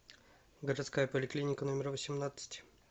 городская поликлиника номер восемнадцать